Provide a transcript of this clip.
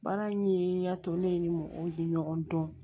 Baara in ye y'a to ne ni mɔgɔw ye ɲɔgɔn dɔn